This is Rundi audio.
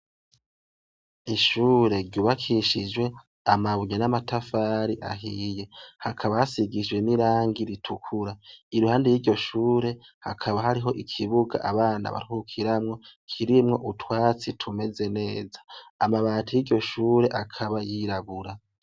Ishure ryubakishijwe amabuye n'amatafari ahiye, hakaba hasigishjwe n'irangi ritukura, iruhande ry'iryo shure hakaba hariho ikibuga abana barukiramwo kirimwo utwatsi tumeze neza, amabati y'iryoshure akaba yirabura.